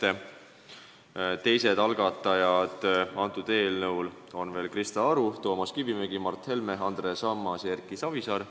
Eelnõu teised algatajad on Krista Aru, Toomas Kivimägi, Mart Helme, Andres Ammas ja Erki Savisaar.